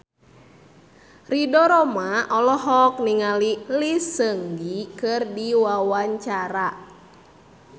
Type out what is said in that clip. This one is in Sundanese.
Ridho Roma olohok ningali Lee Seung Gi keur diwawancara